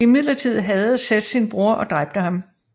Imidlertid hadede Seth sin bror og dræbte ham